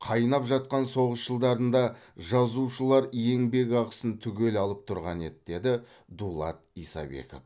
қайнап жатқан соғыс жылдарында жазушылар еңбекақысын түгел алып тұрған еді деді дулат исабеков